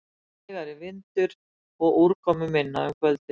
Hægari vindur og úrkomuminna um kvöldið